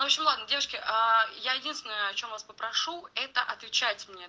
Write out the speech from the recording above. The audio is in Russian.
ашманов девочки аа я единственное о чем вас попрошу это отвечать мне